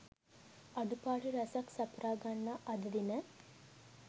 අඩුපාඩු රැසක් සපුරා ගන්නා අද දින